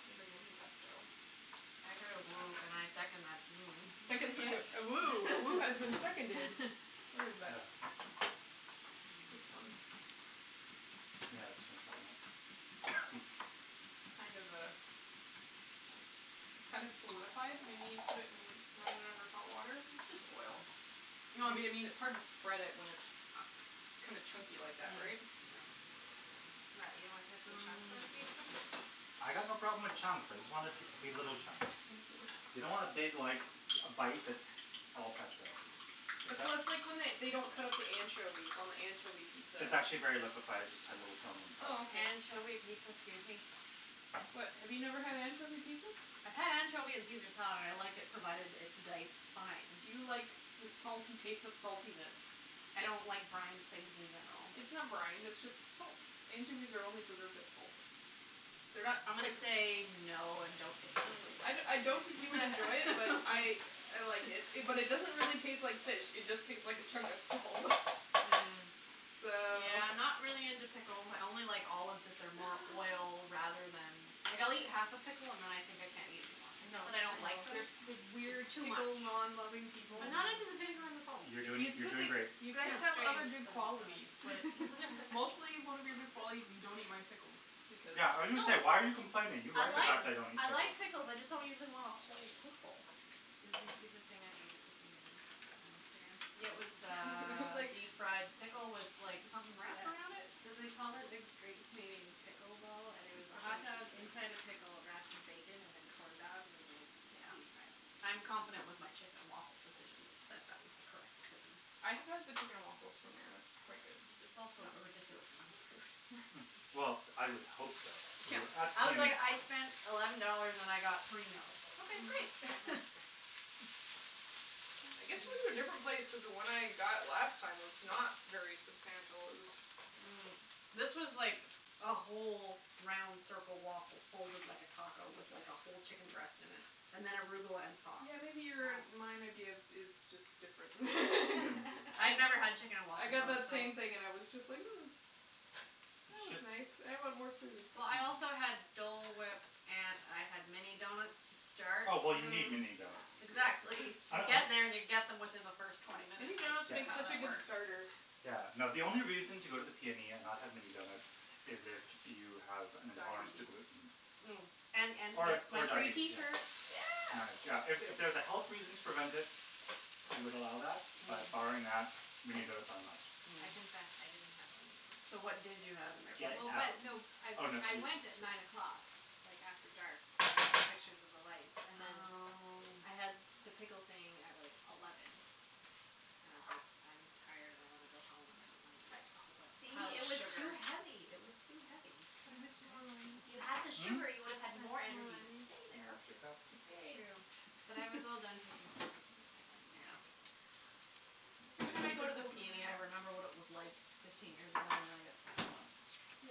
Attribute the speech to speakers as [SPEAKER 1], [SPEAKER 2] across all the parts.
[SPEAKER 1] if anybody wants pesto.
[SPEAKER 2] I heard a woo, and I second that woo.
[SPEAKER 1] A second A woo has been seconded. Where is that? This one.
[SPEAKER 3] Yeah, let's finish that one up.
[SPEAKER 1] It's kind of uh It's kind of solidified. We need put it in run it under hot water.
[SPEAKER 2] It's just oil.
[SPEAKER 1] No, I mean it's hard to spread it when it's kinda chunky
[SPEAKER 2] Ah
[SPEAKER 1] like that, right?
[SPEAKER 2] mm
[SPEAKER 4] What, you don't want
[SPEAKER 2] yeah
[SPEAKER 4] pesto chunks on your pizza?
[SPEAKER 2] mm
[SPEAKER 3] I got no problem with chunks. I just want it to be little chunks. You don't want a big, like, a bite that's all pesto.
[SPEAKER 1] So
[SPEAKER 3] It's a
[SPEAKER 1] that's like when they don't cut up the anchovies on the anchovy pizza.
[SPEAKER 3] It's actually very liquified. It just had a little film on top.
[SPEAKER 1] Oh, okay.
[SPEAKER 2] Anchovy pizza? Excuse me?
[SPEAKER 1] What, have you never had anchovy pizza?
[SPEAKER 2] I've had anchovy on Caesar salad. I like it provided it's diced fine.
[SPEAKER 1] Do you like the salty taste of saltiness?
[SPEAKER 2] I don't like brined things in general.
[SPEAKER 1] It's not brined, it's just salt. Anchovies are only preserved in salt. They're not
[SPEAKER 2] I'm gonna say no and don't
[SPEAKER 1] Mm. I I don't think you would enjoy it, but I I like it. But it doesn't really taste like fish, it just tastes like a chunk of salt.
[SPEAKER 2] Mm,
[SPEAKER 1] So
[SPEAKER 2] yeah, I'm not really into pickles. I only like olives if they're more oil rather than Like, I'll eat half a pickle and then I think I can't eat anymore.
[SPEAKER 1] I
[SPEAKER 2] It's
[SPEAKER 1] know,
[SPEAKER 2] not that I
[SPEAKER 1] I
[SPEAKER 2] don't like them
[SPEAKER 1] know. The weird
[SPEAKER 2] It's too much.
[SPEAKER 1] pickle non loving people.
[SPEAKER 2] I'm not
[SPEAKER 4] Mm.
[SPEAKER 2] into the vinegar and the
[SPEAKER 4] Yeah
[SPEAKER 2] salt.
[SPEAKER 3] You're doing
[SPEAKER 1] It's a
[SPEAKER 4] strange
[SPEAKER 3] you're
[SPEAKER 1] good thing
[SPEAKER 3] doing great.
[SPEAKER 1] you
[SPEAKER 4] but
[SPEAKER 1] guys have other
[SPEAKER 4] I
[SPEAKER 1] good
[SPEAKER 4] still
[SPEAKER 1] qualities, but
[SPEAKER 4] like it.
[SPEAKER 1] mostly one of your good qualities is you don't eat my pickles because
[SPEAKER 2] No
[SPEAKER 3] Yeah, I was going to say, "Why are you complaining?" You
[SPEAKER 2] I
[SPEAKER 3] like the
[SPEAKER 2] like
[SPEAKER 3] fact I don't eat
[SPEAKER 2] I
[SPEAKER 3] pickles.
[SPEAKER 2] like pickles, I just don't usually want a whole pickle.
[SPEAKER 4] Did you see the thing I ate at the PNE on Instagram?
[SPEAKER 2] Yeah, it was
[SPEAKER 4] It was
[SPEAKER 2] uh
[SPEAKER 4] like
[SPEAKER 2] deep fried pickle with like something wrapped around it?
[SPEAKER 4] So they called it a Great Canadian Pickle Ball, and it was a hotdog inside a pickled wrapped in bacon and then corn dogged and like deep fried.
[SPEAKER 2] Yeah. I'm confident with my chicken and waffles decision, that that was the correct decision.
[SPEAKER 1] I have had the chicken and waffles from there and it's quite good.
[SPEAKER 2] It was also a ridiculous amount of food.
[SPEAKER 3] Well, I would hope so
[SPEAKER 2] Yeah. I was like, "I spent eleven dollars and I got three meals." Okay, great.
[SPEAKER 1] I guess you went to a different place cuz the one I got last time was not very substantial. It was
[SPEAKER 2] Mm. This was like a whole round circle waffle folded like a taco with, like, a whole chicken breast in it and then arugula and sauce.
[SPEAKER 1] Yeah, maybe your and my idea is
[SPEAKER 4] Wow.
[SPEAKER 1] just different
[SPEAKER 2] I never had chicken and
[SPEAKER 1] I
[SPEAKER 2] waffles,
[SPEAKER 1] got that
[SPEAKER 2] so.
[SPEAKER 1] same thing and it was just huh. That was nice. I want more food.
[SPEAKER 2] Well, I also had Dole whip and I had mini donuts to start.
[SPEAKER 3] Oh, well you need mini donuts.
[SPEAKER 2] Exactly. You get there and you get them within the first twenty minutes.
[SPEAKER 1] Mini donuts
[SPEAKER 3] Yeah,
[SPEAKER 2] That's
[SPEAKER 1] make
[SPEAKER 2] how
[SPEAKER 1] such a
[SPEAKER 2] that
[SPEAKER 1] good
[SPEAKER 2] works.
[SPEAKER 1] starter.
[SPEAKER 3] yeah, no, the only reason to go to the PNE and not have mini donuts is if you have an intolerance to
[SPEAKER 1] Diabetes.
[SPEAKER 3] gluten.
[SPEAKER 2] Mm. And
[SPEAKER 3] Or or
[SPEAKER 2] my free
[SPEAKER 3] diabetes,
[SPEAKER 2] tee
[SPEAKER 3] yeah.
[SPEAKER 2] shirt. Yeah.
[SPEAKER 3] Yeah, if it was a health reason to prevent it, I would allow that, but barring
[SPEAKER 2] Mm.
[SPEAKER 3] that, mini donuts are a must.
[SPEAKER 4] I
[SPEAKER 2] Mm.
[SPEAKER 4] confess, I didn't have any donuts.
[SPEAKER 2] So what did you have in their
[SPEAKER 3] Get
[SPEAKER 2] place?
[SPEAKER 4] Well,
[SPEAKER 3] out.
[SPEAKER 4] but no I I went at nine o'clock like after dark to take pictures of the lights and then.
[SPEAKER 2] Oh.
[SPEAKER 4] I had the pickle thing at like eleven and I was like I'm tired and I want to go home and I don't want to eat a whole
[SPEAKER 2] See,
[SPEAKER 4] pile of
[SPEAKER 2] it was too
[SPEAKER 4] sugar.
[SPEAKER 2] heavy, it was too heavy.
[SPEAKER 1] Can
[SPEAKER 4] It was
[SPEAKER 1] I have
[SPEAKER 4] good,
[SPEAKER 1] some more wine?
[SPEAKER 2] If you had the
[SPEAKER 4] though.
[SPEAKER 3] Hm?
[SPEAKER 2] sugar, you would
[SPEAKER 1] Can I
[SPEAKER 2] have had
[SPEAKER 1] have some more
[SPEAKER 2] more energy to
[SPEAKER 1] wine,
[SPEAKER 2] stay
[SPEAKER 1] babe?
[SPEAKER 2] there.
[SPEAKER 3] That's your cup.
[SPEAKER 4] True,
[SPEAKER 1] Babe
[SPEAKER 4] but I was all done taking pictures and was like I'm just
[SPEAKER 2] Yeah.
[SPEAKER 4] gonna go.
[SPEAKER 2] Every time I go to the PNE, I remember what it was like fifteen years ago and then I get sad.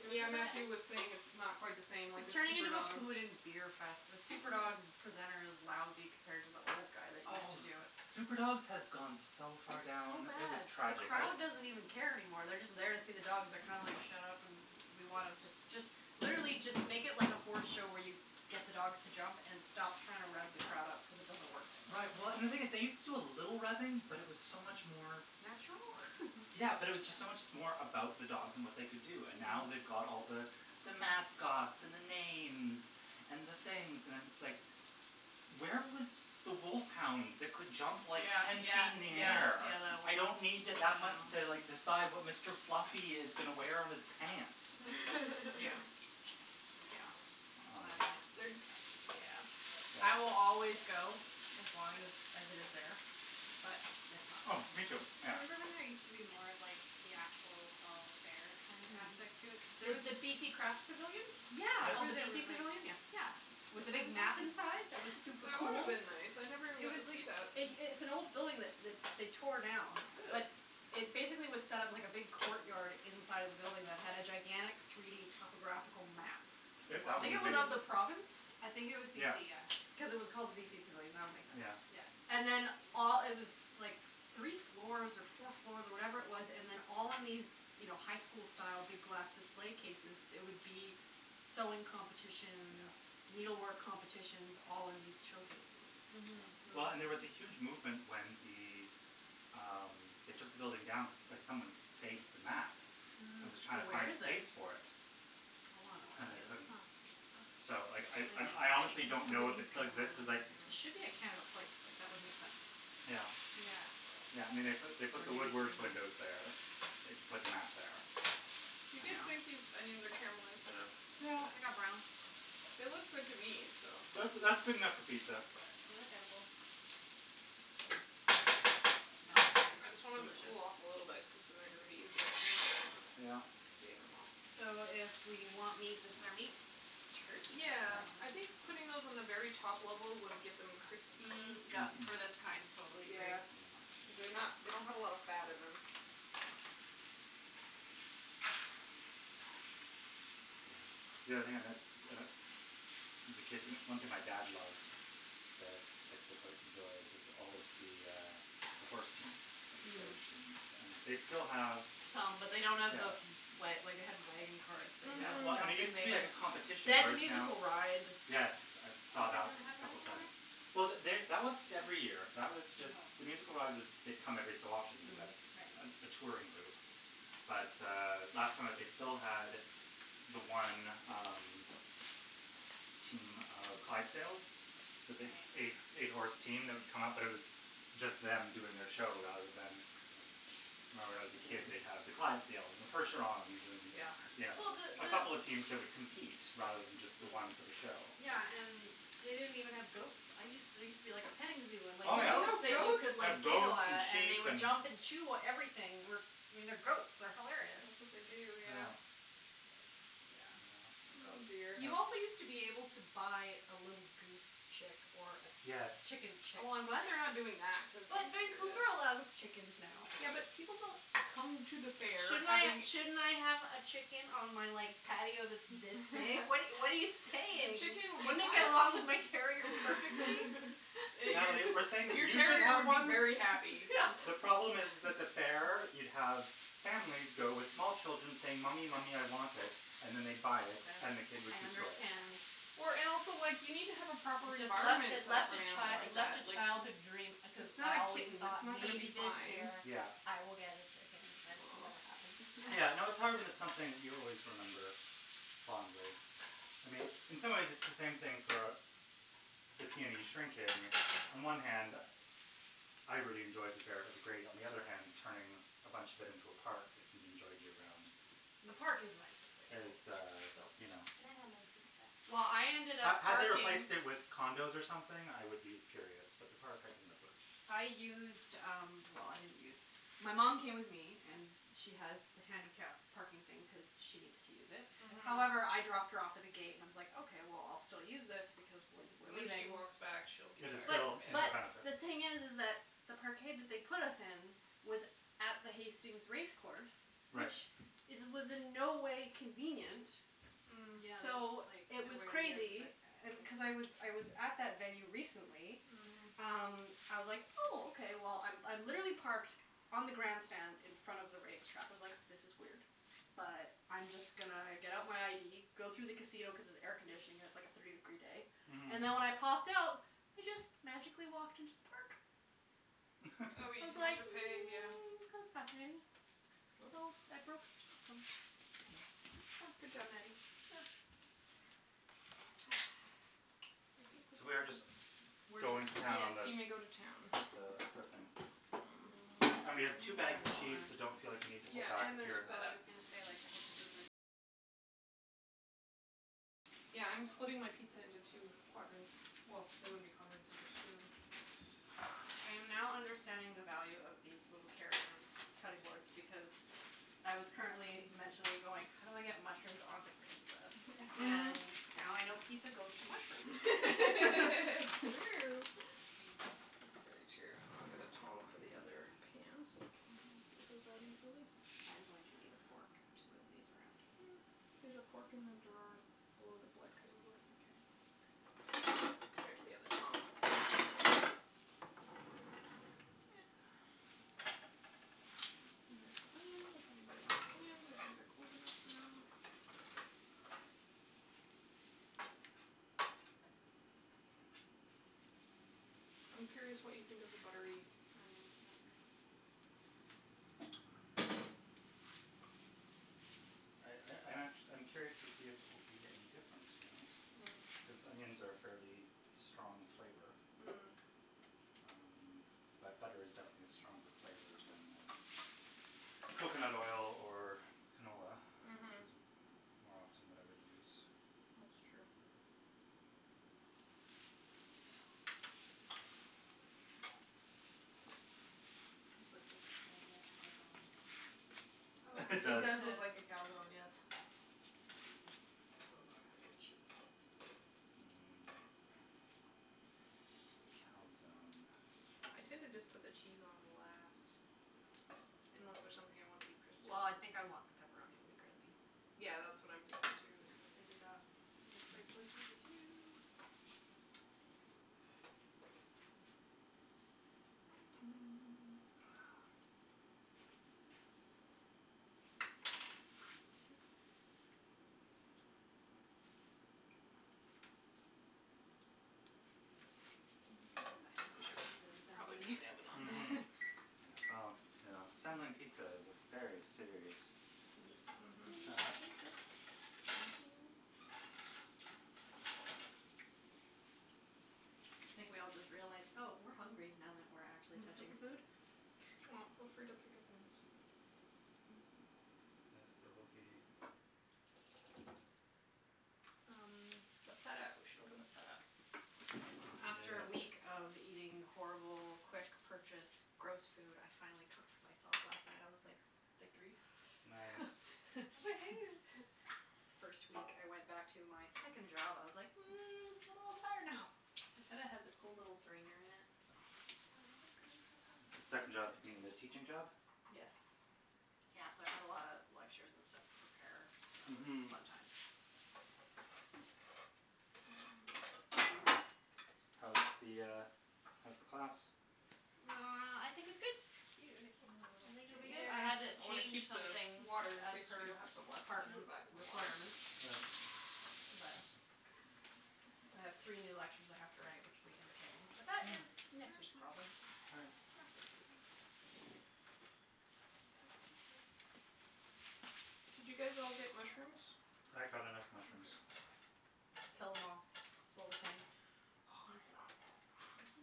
[SPEAKER 4] Do you
[SPEAKER 1] Yeah,
[SPEAKER 4] remember that?
[SPEAKER 1] Matthew was saying it's not quite the same, like the
[SPEAKER 2] It's turning
[SPEAKER 1] super
[SPEAKER 2] into a
[SPEAKER 1] dogs.
[SPEAKER 2] food and beer fest. The super dog presenter is lousy compared to the old guy that used to
[SPEAKER 3] Oh.
[SPEAKER 2] do it.
[SPEAKER 3] Super dogs has gone so far
[SPEAKER 2] It's so
[SPEAKER 3] down, it was
[SPEAKER 2] bad. The
[SPEAKER 3] tragic.
[SPEAKER 2] crowd doesn't even care anymore. They're just there to see the dogs. They're kind of like shut up and we want them just just literally just make it like a horse show where you get the dogs to jump and stop trying to rev the crowd up cuz it doesn't work.
[SPEAKER 3] Right, well, and the thing is they used to do a little revving, but it was so much more.
[SPEAKER 2] Natural?
[SPEAKER 3] Yeah, but it was just so much more about the dogs and what they could do, and now they've
[SPEAKER 2] Mm.
[SPEAKER 3] got all the the mascots and the names and the things and it's like where was the wolf hound that could jump like
[SPEAKER 2] Yeah,
[SPEAKER 3] ten
[SPEAKER 2] yeah,
[SPEAKER 3] feet up in the
[SPEAKER 2] yeah,
[SPEAKER 3] air.
[SPEAKER 2] yeah that one. I
[SPEAKER 3] I
[SPEAKER 2] know.
[SPEAKER 3] don't need to like decide what Mr. Fluffy is going to wear on his pants.
[SPEAKER 4] Glad I missed the super dogs this year.
[SPEAKER 3] Yeah.
[SPEAKER 2] I will always go as long as as it is there. But it's not
[SPEAKER 3] Oh, me too.
[SPEAKER 2] there.
[SPEAKER 3] Yeah.
[SPEAKER 4] Remember when there used to be more of like the actual fall fair kind of aspect to it?
[SPEAKER 2] Mhm. The the BC Craft Pavilion? It's
[SPEAKER 3] Yeah.
[SPEAKER 2] called the
[SPEAKER 4] Yeah
[SPEAKER 2] BC Pavilion? Yeah.
[SPEAKER 4] Yeah.
[SPEAKER 2] With the big map
[SPEAKER 4] Exactly.
[SPEAKER 2] inside that was super
[SPEAKER 1] That would have
[SPEAKER 2] cool?
[SPEAKER 1] been nice. I never even
[SPEAKER 4] It
[SPEAKER 1] got to
[SPEAKER 4] was like
[SPEAKER 1] see that.
[SPEAKER 2] It it's an old building that that they tore down.
[SPEAKER 1] Really?
[SPEAKER 2] That it basically was set up like a big court yard inside of the building that had a gigantic three d topographical map. it of the province?
[SPEAKER 4] I think it was
[SPEAKER 3] Yeah.
[SPEAKER 4] BC, yeah.
[SPEAKER 2] Because it was called the BC Pavilion. That would make sense.
[SPEAKER 3] Yeah.
[SPEAKER 4] Yeah.
[SPEAKER 2] And then all it was like three floors or four floors or whatever it was and then all in these, you know, high school style big glass display cases there would be sewing competitions.
[SPEAKER 3] Yeah.
[SPEAKER 2] Needle work competitions all in these showcases.
[SPEAKER 3] Yeah.
[SPEAKER 4] Mhm.
[SPEAKER 3] Well, and there was a huge movement when the um they took the building down that someone saved the map. That
[SPEAKER 2] Mhm.
[SPEAKER 3] was
[SPEAKER 2] So
[SPEAKER 3] trying to
[SPEAKER 2] where
[SPEAKER 3] find
[SPEAKER 2] is it?
[SPEAKER 3] space for it.
[SPEAKER 2] I wanna know where
[SPEAKER 3] And
[SPEAKER 2] that
[SPEAKER 3] they
[SPEAKER 2] is.
[SPEAKER 3] couldn't.
[SPEAKER 4] Huh.
[SPEAKER 3] So I I I honestly don't know if it still exists cuz like
[SPEAKER 2] It should be at Canada Place, like, that would make sense.
[SPEAKER 3] Yeah.
[SPEAKER 4] Yeah.
[SPEAKER 3] Yeah, I mean, they put the Woodward's windows there. I think they put the map there.
[SPEAKER 1] You
[SPEAKER 3] Yeah.
[SPEAKER 1] guys
[SPEAKER 2] Yeah.
[SPEAKER 1] think these onions are caramelized enough?
[SPEAKER 2] Yeah, they got brown.
[SPEAKER 1] They look good to me, so.
[SPEAKER 3] That's that's good enough for pizza.
[SPEAKER 4] They look edible.
[SPEAKER 2] Smells very
[SPEAKER 1] I just want them to
[SPEAKER 2] delicious.
[SPEAKER 1] cool off a little bit cuz then they're going to be easier to handle them.
[SPEAKER 3] Yeah.
[SPEAKER 1] Getting them out.
[SPEAKER 2] So if we want meat, this is our meat? Turkey
[SPEAKER 1] Yeah.
[SPEAKER 2] pepperoni?
[SPEAKER 3] Yeah.
[SPEAKER 1] I think putting those on the very top level would get them crispy.
[SPEAKER 2] Mm,
[SPEAKER 3] Yeah.
[SPEAKER 2] yeah, for this kind, totally agree.
[SPEAKER 1] Yeah, because they not they don't have a lot of fat in them.
[SPEAKER 3] Yeah. The only thing I miss as a kid, one thing my dad loved that I still quite enjoy was all of the uh the horse teams, at the fair,
[SPEAKER 2] Mm.
[SPEAKER 3] teams. And they still have
[SPEAKER 2] Some, but they don't have
[SPEAKER 3] Yeah.
[SPEAKER 2] the Wa- like they had wagon carts that
[SPEAKER 3] Yeah, well, I mean, it used
[SPEAKER 1] Mhm.
[SPEAKER 3] to be like a
[SPEAKER 2] had.
[SPEAKER 3] competition
[SPEAKER 2] They had the
[SPEAKER 3] whereas now
[SPEAKER 2] musical ride.
[SPEAKER 3] Yes, I
[SPEAKER 4] Oh
[SPEAKER 3] saw
[SPEAKER 4] they
[SPEAKER 3] that
[SPEAKER 4] don't have
[SPEAKER 3] a
[SPEAKER 4] that
[SPEAKER 3] couple
[SPEAKER 4] anymore?
[SPEAKER 3] times. Well, they that wasn't every year. That was just the
[SPEAKER 4] Oh.
[SPEAKER 3] musical ride was they come every so often cuz
[SPEAKER 1] Mm.
[SPEAKER 3] that's
[SPEAKER 4] Mhm, right.
[SPEAKER 3] a touring group. But uh last time that they still had the one um team of Clydesdales, the big eight eight horse team that would come up, but it was just them doing their show rather than I remember when I was a kid, they'd have the Clydesdales and the percherons and,
[SPEAKER 4] Yeah.
[SPEAKER 3] you
[SPEAKER 2] Yeah.
[SPEAKER 3] know.
[SPEAKER 2] Well, the
[SPEAKER 3] A couple of teams that would compete rather than just the one for the
[SPEAKER 4] Mm.
[SPEAKER 3] show.
[SPEAKER 2] Yeah, and they didn't even have goats. I used there used to be like a petting zoo and like
[SPEAKER 3] Oh,
[SPEAKER 1] There's
[SPEAKER 3] yeah.
[SPEAKER 2] goats
[SPEAKER 1] no
[SPEAKER 2] that you
[SPEAKER 1] goats?
[SPEAKER 2] could
[SPEAKER 3] Like
[SPEAKER 2] like giggle
[SPEAKER 3] goats, and
[SPEAKER 2] at and they
[SPEAKER 3] sheep,
[SPEAKER 2] would
[SPEAKER 3] and
[SPEAKER 2] jump and chew everything. I mean, they're goats, they're hilarious.
[SPEAKER 1] That's what they do,
[SPEAKER 3] Yeah.
[SPEAKER 1] yeah.
[SPEAKER 2] But, yeah,
[SPEAKER 3] Yeah.
[SPEAKER 2] no
[SPEAKER 1] Oh
[SPEAKER 2] goats.
[SPEAKER 1] dear.
[SPEAKER 3] Yeah.
[SPEAKER 2] You also used to be able to buy a little goose chick. Or a
[SPEAKER 3] Yes.
[SPEAKER 2] chicken chick.
[SPEAKER 1] Oh, I'm glad they're not doing that cuz
[SPEAKER 2] But Vancouver allows chickens now.
[SPEAKER 1] Yeah, but people don't come to the fair
[SPEAKER 2] Shouldn't I
[SPEAKER 1] having
[SPEAKER 2] shouldn't I have a chicken on my like patio that's this big? What what are you what are
[SPEAKER 1] But
[SPEAKER 2] you saying?
[SPEAKER 1] chicken would
[SPEAKER 2] Wouldn't
[SPEAKER 1] not
[SPEAKER 2] it get along with my terrier perfectly?
[SPEAKER 3] Natalie, we're saying
[SPEAKER 1] Your
[SPEAKER 3] that
[SPEAKER 1] your
[SPEAKER 3] you should
[SPEAKER 1] terrier
[SPEAKER 3] have
[SPEAKER 1] would be
[SPEAKER 3] one.
[SPEAKER 1] very happy.
[SPEAKER 3] The problem is is that the fair you'd have families go with small children saying, "Mommy, mommy, I want it," and then they'd buy it, then the kid would
[SPEAKER 2] I
[SPEAKER 3] destroy it.
[SPEAKER 2] understand.
[SPEAKER 1] Or and also like, you need to have a proper
[SPEAKER 2] Just left
[SPEAKER 1] environment
[SPEAKER 2] it
[SPEAKER 1] set up for
[SPEAKER 2] left
[SPEAKER 1] an
[SPEAKER 2] a
[SPEAKER 1] animal
[SPEAKER 2] chi- it
[SPEAKER 1] like
[SPEAKER 2] left
[SPEAKER 1] that,
[SPEAKER 2] a
[SPEAKER 1] like
[SPEAKER 2] childhood dream because
[SPEAKER 1] It's not
[SPEAKER 2] I
[SPEAKER 1] a
[SPEAKER 2] always
[SPEAKER 1] kitten, it's
[SPEAKER 2] thought
[SPEAKER 1] not gonna
[SPEAKER 2] maybe
[SPEAKER 1] be
[SPEAKER 2] this
[SPEAKER 1] fine.
[SPEAKER 2] year
[SPEAKER 3] Yeah.
[SPEAKER 2] I will get a chicken and it never happened.
[SPEAKER 3] Yeah, no, it's hard when it's something you always remember fondly. I mean, in some ways it's the same thing for a the PNE On one hand I really enjoyed the fair, it was great. On the other hand, turning a bunch of it into a park that can be enjoyed year round.
[SPEAKER 2] The park is nice that they built.
[SPEAKER 3] Is uh, you know
[SPEAKER 4] Can I have my pizza?
[SPEAKER 2] Well, I ended
[SPEAKER 3] Had
[SPEAKER 2] up
[SPEAKER 3] had they
[SPEAKER 2] parking
[SPEAKER 3] replaced it with condos or something, I would be furious, but the park I can live with.
[SPEAKER 2] I used um, well, I didn't use My mom came with me and she has the handicap parking thing cuz she needs to use it.
[SPEAKER 1] Mhm.
[SPEAKER 2] However, I dropped her off at the gate and I was like, okay, well, I'll still use this because when we're
[SPEAKER 1] When she
[SPEAKER 2] leaving.
[SPEAKER 1] walks back she'll be
[SPEAKER 3] It is
[SPEAKER 1] tired
[SPEAKER 3] still in her
[SPEAKER 2] But
[SPEAKER 3] benefit.
[SPEAKER 2] the thing is is that the parkade that they put us in was at the Hastings race course.
[SPEAKER 3] Right.
[SPEAKER 2] Which is was in no way convenient.
[SPEAKER 1] Mm.
[SPEAKER 4] Mm, yeah, that's
[SPEAKER 2] So
[SPEAKER 4] like
[SPEAKER 2] it was
[SPEAKER 4] nowhere near the
[SPEAKER 2] crazy.
[SPEAKER 4] best
[SPEAKER 2] And cuz I
[SPEAKER 4] effort.
[SPEAKER 2] was I was at that venue recently
[SPEAKER 1] Mhm.
[SPEAKER 2] um, I was like, "Oh, okay." Well, I I'm literally parked on the grandstand in front of the race track. I was like, this is weird, but I'm just gonna get out my ID, go through the casino cuz it's air conditioning, it's like a thirty degree day.
[SPEAKER 3] Mhm.
[SPEAKER 2] And then when I popped out, I just magically walked into the park.
[SPEAKER 1] Oh,
[SPEAKER 2] I
[SPEAKER 1] you
[SPEAKER 2] was
[SPEAKER 1] didn't have
[SPEAKER 2] like
[SPEAKER 1] to pay, yeah.
[SPEAKER 2] mm, that was fascinating. So,
[SPEAKER 1] Whoops.
[SPEAKER 2] I broke their system.
[SPEAKER 1] Yes.
[SPEAKER 2] It was fun.
[SPEAKER 1] Good job, Natty.
[SPEAKER 2] Yeah.
[SPEAKER 3] So we are just
[SPEAKER 2] We're
[SPEAKER 3] going to
[SPEAKER 2] just
[SPEAKER 3] town
[SPEAKER 1] Yes,
[SPEAKER 3] on the
[SPEAKER 1] you may go to town.
[SPEAKER 2] Mm. I
[SPEAKER 3] And we
[SPEAKER 2] dunno
[SPEAKER 3] have two
[SPEAKER 2] what
[SPEAKER 3] bags of
[SPEAKER 2] I
[SPEAKER 3] cheese, so
[SPEAKER 2] want.
[SPEAKER 3] don't feel like you need to
[SPEAKER 1] Yeah,
[SPEAKER 3] hold back
[SPEAKER 1] and
[SPEAKER 3] if
[SPEAKER 1] there's
[SPEAKER 3] you're
[SPEAKER 1] feta. Yeah, I'm splitting my pizza into two quadrants. Well, they wouldn't be quadrants if there's two.
[SPEAKER 2] I am now understanding the value of these little carrier cutting boards because I was currently mentally going how do I get mushrooms onto pizza? And now I know pizza goes to mushrooms.
[SPEAKER 1] It's true. It's very true. I'll get the tong for the other pan so we can get those out easily.
[SPEAKER 2] I am going to need a fork to move these around.
[SPEAKER 1] There's a fork in the drawer below the black cutting board here.
[SPEAKER 2] Okay. There's the other tong.
[SPEAKER 1] And there's onions if anybody wants onions. I think they're cold enough now. I'm curious what you think of the buttery onions, Matthew.
[SPEAKER 3] I I I'm actu- I'm curious to see if it will be any different, to be honest.
[SPEAKER 1] Mhm.
[SPEAKER 3] Cuz onions are a fairly strong flavor.
[SPEAKER 1] Mm.
[SPEAKER 3] Um, but butter is definitely a stronger flavor than coconut oil or canola. Which
[SPEAKER 1] Mhm.
[SPEAKER 3] is more often what I would use.
[SPEAKER 1] That''s true.
[SPEAKER 4] This looks like it's gonna be a calzone.
[SPEAKER 2] Oh
[SPEAKER 3] It
[SPEAKER 2] like
[SPEAKER 1] It
[SPEAKER 3] does.
[SPEAKER 2] you
[SPEAKER 1] does look
[SPEAKER 2] said
[SPEAKER 1] like a calzone, yes.
[SPEAKER 2] Put those on after cheese.
[SPEAKER 3] Mmm. Calzone.
[SPEAKER 1] I tend to just put the cheese on last. Unless there's something I wanna be crispy.
[SPEAKER 2] Well, I think I want the pepperoni to be crispy.
[SPEAKER 1] Yeah, that's what I'm thinking, too, is that maybe that I will trade places with you.
[SPEAKER 4] The silence
[SPEAKER 1] We
[SPEAKER 4] of
[SPEAKER 1] should
[SPEAKER 4] pizza
[SPEAKER 1] probably turn
[SPEAKER 4] assembly.
[SPEAKER 1] the oven on now.
[SPEAKER 3] Mhm. Yeah, well, you know, assembling pizza is a very serious
[SPEAKER 1] Mhm.
[SPEAKER 3] task.
[SPEAKER 2] Thank you. I think we all just realized, "Oh, we're hungry now that we're actually touching food."
[SPEAKER 1] Well, feel free to pick up things.
[SPEAKER 3] Yes, there will be.
[SPEAKER 1] Um, the feta We should open the feta.
[SPEAKER 2] Wow. After a week
[SPEAKER 3] Yes.
[SPEAKER 2] of eating horrible quick purchased gross food, I finally cooked for myself last night. I was like victory.
[SPEAKER 3] Nice.
[SPEAKER 4] Woohoo.
[SPEAKER 2] It's the first week I went back to my second job. I was like, "Mm, I'm a little tired now."
[SPEAKER 1] The feta has a cool little drainer in it, so
[SPEAKER 2] Do I want green pepper?
[SPEAKER 3] The
[SPEAKER 2] I
[SPEAKER 3] second job
[SPEAKER 2] dunno
[SPEAKER 3] being the teaching job?
[SPEAKER 2] what Yes.
[SPEAKER 3] Yes.
[SPEAKER 2] Yeah, so I had a lot of lectures and stuff to prepare. That was
[SPEAKER 3] Mhm.
[SPEAKER 2] fun times.
[SPEAKER 3] How's the uh how's the class?
[SPEAKER 1] There we go.
[SPEAKER 4] Well, I think it's good. I think it'll be good. Cute, it came with a little strainer?
[SPEAKER 2] I
[SPEAKER 1] Yeah,
[SPEAKER 2] had to
[SPEAKER 1] I want to
[SPEAKER 2] change
[SPEAKER 1] keep the
[SPEAKER 2] some things
[SPEAKER 1] water. In
[SPEAKER 2] of
[SPEAKER 1] case we do
[SPEAKER 2] her
[SPEAKER 1] have some left we can put it
[SPEAKER 2] department
[SPEAKER 1] back in the water.
[SPEAKER 2] requirements.
[SPEAKER 3] Right.
[SPEAKER 2] But so I have three new lectures I have to write, which will be entertaining, but that is next week's problems.
[SPEAKER 3] All right.
[SPEAKER 2] Not this week.
[SPEAKER 1] Did you guys all get mushrooms?
[SPEAKER 3] I got enough mushrooms.
[SPEAKER 1] Mkay.
[SPEAKER 2] Kill them all, is what we're saying.
[SPEAKER 3] Oh my god.